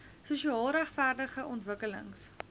sosiaal regverdige ontwikkelings